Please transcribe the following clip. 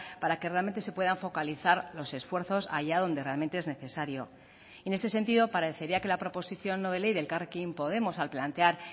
para que realmente se puedan focalizar los esfuerzos haya donde realmente es necesario en este sentido parecería que la proposición no de ley de elkarrekin podemos al plantear